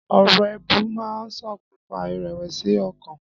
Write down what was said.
Ọ̀rọ̀ èébú máa ń ṣokùnfà ìrẹ̀wẹ̀sì ọkàn.